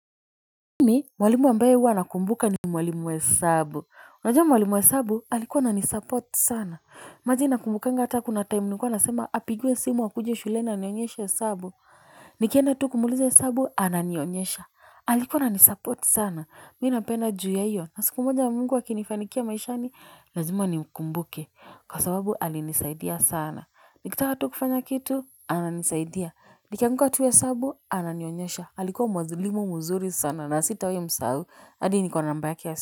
Mimi, mwalimu ambaye huwa nakumbuka ni mwalimu wa hesabu. Unajama mwalimu wa hesabu, alikuwa ananisupport sana. Imagine nakumbukanga hata kuna time nilikuwa nasema apigiwe simu akuje shuleni anionyeshe hesabu. Nikienda tu kumuuliza hesabu, ananionyesha. Alikuwa na nisupport sana. Mi nampenda juu ya hiyo. Na siku moja mungu akinifanikia maishani, lazima ni ukumbuke. Kwa sababu, alinisaidia sana. Nikitaka tu kufanya kitu, ananisaidia. Nikianguka tu hesabu, ananionyesha. Alikua mwanzilimu muzuri sana na sitawai msahau hadi niko na namba ya simu.